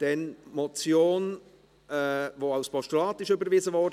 Wir kommen zum Antrag Riem zur Motion 136-2016, die als Postulat überwiesen wurde.